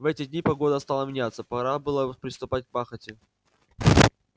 в эти дни погода стала меняться пора было приступать к пахоте